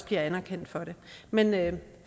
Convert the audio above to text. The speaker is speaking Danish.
bliver anerkendt for det men men